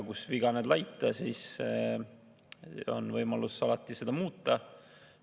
Kus viga näed laita, siis on võimalus alati seda muuta.